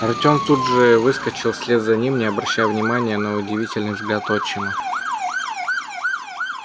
артём тут же выскочил вслед за ним не обращая внимания на удивительный взгляд отчима